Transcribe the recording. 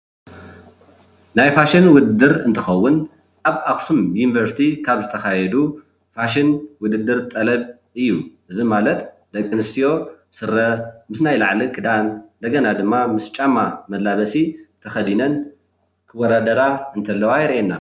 ናይ ማሽን ውድድር እንትከውን ኣብ ኣክሱም ዩኒቨርስቲ ዝተካየዱ ፋሽን ውድድር ጠለብ እዩ፡፡ እዚ ማለት ደቂ ኣነስትዮ ስረ ምስ ናይ ላዕልን ክዳን እንደገና ድማ ምስ ጫማ መላበሲ ተከዲነን እንትውዳደራ እንተለዋ የርእየና፡፡